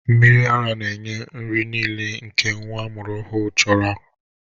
Mmiri ara na-enye nri niile nke nwa amụrụ ọhụrụ chọrọ.